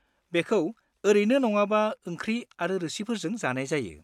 बेखौ ओरैनो नङाबा ओंख्रि आरो रोसिफोरजों जानाय जायो।